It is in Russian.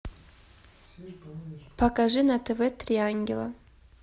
покажи на тв три ангела